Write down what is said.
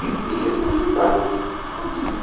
E vinha com resultado prontinho. Falei